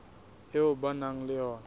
eo ba nang le yona